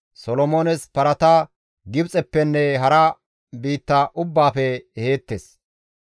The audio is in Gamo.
Solomoones parata Gibxeppenne hara biitta ubbaafe eheettes.